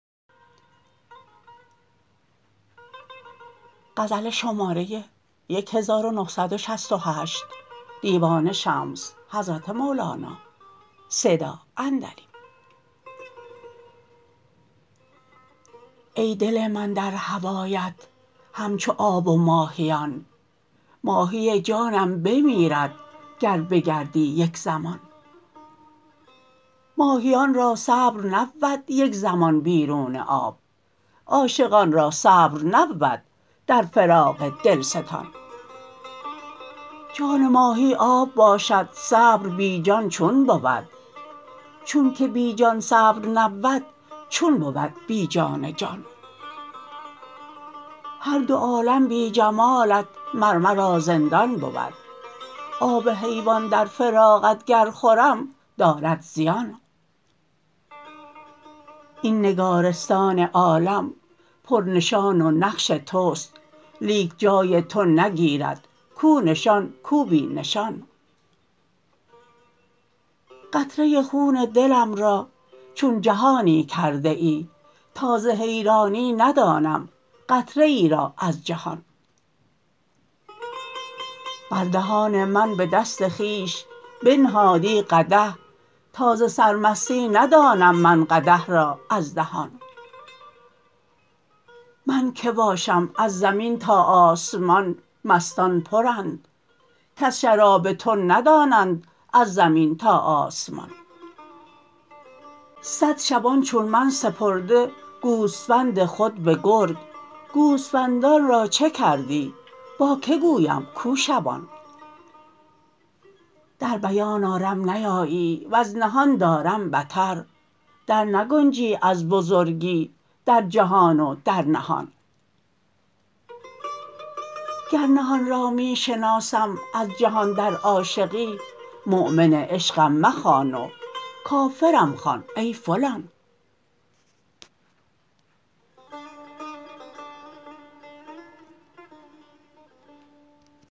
ای دل من در هوایت همچو آب و ماهیان ماهی جانم بمیرد گر بگردی یک زمان ماهیان را صبر نبود یک زمان بیرون آب عاشقان را صبر نبود در فراق دلستان جان ماهی آب باشد صبر بی جان چون بود چونک بی جان صبر نبود چون بود بی جان جان هر دو عالم بی جمالت مر مرا زندان بود آب حیوان در فراقت گر خورم دارد زیان این نگارستان عالم پرنشان و نقش توست لیک جای تو نگیرد کو نشان کو بی نشان قطره خون دلم را چون جهانی کرده ای تا ز حیرانی ندانم قطره ای را از جهان بر دهان من به دست خویش بنهادی قدح تا ز سرمستی ندانم من قدح را از دهان من کی باشم از زمین تا آسمان مستان پرند کز شراب تو ندانند از زمین تا آسمان صد شبان چون من سپرده گوسفند خود به گرگ گوسفندان را چه کردی با کی گویم کو شبان در بیان آرم نیایی ور نهان دارم بتر درنگنجی از بزرگی در جهان و در نهان گر نهان را می شناسم از جهان در عاشقی مؤمن عشقم مخوان و کافرم خوان ای فلان